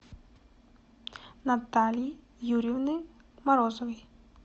натальи юрьевны морозовой